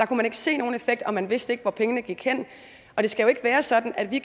kunne se nogen effekt og at man ikke vidste hvor pengene gik hen det skal ikke være sådan at vi